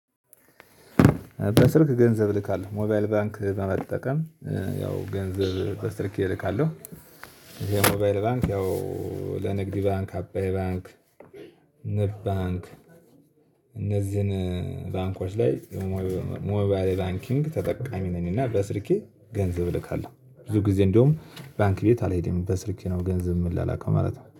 በስልክ ገንዘብ እልካለሁ ሞባይል ባንክ በመጠቀም ያው ገንዘብ በስልኬ እልካለሁ። ይሄ ሞባይል ባንክ ያው ለንግድ ባንክ አባይ ባንክ ንብ ባንክ እነዚህን ባንኮች ላይ ሞባይል ባንኪንግ ተጠቃሚ ነኝ። እና በስልኬ ገንዘብ እልካለሁ ብዙ ጊዜ እንደውም ባንክ ቤት አልሄድም በስልኬ ነው ገንዘብ የምላላከው ማለት ነው